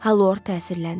Halvor təsirləndi.